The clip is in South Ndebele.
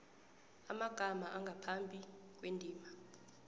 amagama angaphambi kwendima